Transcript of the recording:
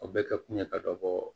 O bɛ kɛ kun ye ka dɔ bɔ